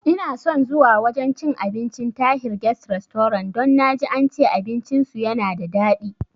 Inason zuwa wajan cin abincin Tahir guest restaurant don naji ance abinci su yana da dadi